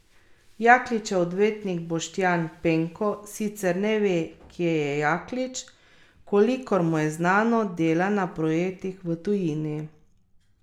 Jakličev odvetnik Boštjan Penko sicer ne ve, kje je Jaklič, kolikor mu je znano, dela na projektih v tujini.